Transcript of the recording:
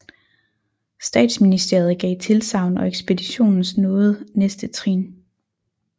Statsministeriet gav tilsagn og ekspeditionens nåede næste trin